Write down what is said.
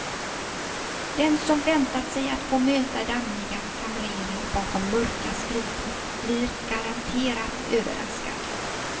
Den som väntat sig att få möta dammiga kamrerer bakom mörka skrivbord blir garanterat överraskad.